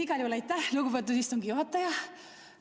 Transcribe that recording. Igal juhul aitäh, lugupeetud istungi juhataja!